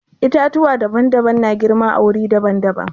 Itatuwa daban-daban na girma a wuri daban-daban.